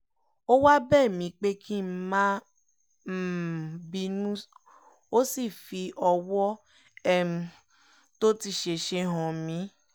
ó wáá bẹ̀ mí pé kí n má um bínú ó sì fi ọ̀wọ̀ um tó ti ṣẹ̀ṣẹ̀ hàn mí